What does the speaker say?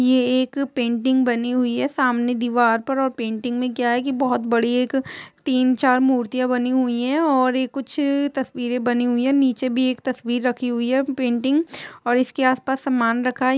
ये एक पेंटिंग बनी हुई है सामने दीवार पर और पेंटिंग मे क्या है की बहुत बड़ी एक तीन चार मूर्तिया बनी हुई है और ये कुछ तस्वीरे बनी हुई है नीचे भी एक तस्वीर रखी हुई है पेंटिंग और इसके आस-पास समान रखा है।